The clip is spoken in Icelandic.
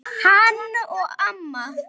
Hann og amma.